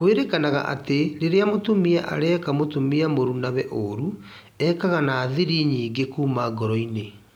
Kwĩrĩkanaga atĩ rĩria mũtumia areka mũtumia mũrunawe ũũru, ekaga na thiri nyingĩ kuuma ngoro-inĩ